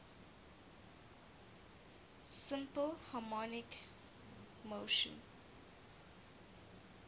simple harmonic motion